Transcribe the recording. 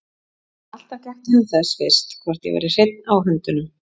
En alltaf gætti hann þess fyrst hvort ég væri hreinn á höndunum.